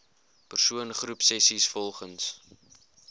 persoon groepsessies volgens